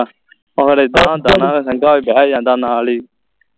ਉਹ ਫਿਰ ਇਦਾ ਹੁੰਦਾ ਨਾ ਸੰਗਾ ਵੀ ਬਹਿ ਜਾਂਦਾ ਨਾਲ ਹੀ